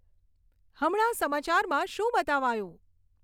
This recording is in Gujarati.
હમણાં સમાચારમાં શું બતાવાયું